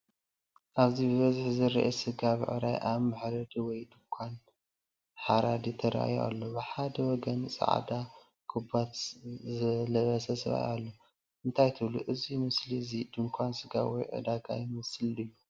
ኣብዚ፡ ብብዝሒ ዝረኣይ ስጋ ብዕራይ ኣብ መሕረዲ ወይ ድኳን ሓራዲ ተራእዩ ኣሎ። ብሓደ ወገን ጻዕዳ ካቦት ዝለበሰ ሰብኣይ ኣሎ። እንታይ ትብሉ? እዚ ምስሊ እዚ ድኳን ስጋ ወይ ዕዳጋ ይመስል ድዩ?